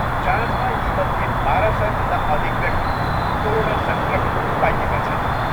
जाँचमा यीमध्ये बाह्र सयभन्दा अधिक व्यक्ति कोरोना सङ्क्रमित पाइएका छन्।